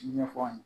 Ɲɛfɔ an ye